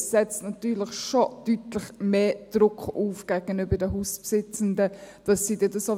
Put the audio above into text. Denn diese setzten gegenüber den Hausbesitzenden deutlich mehr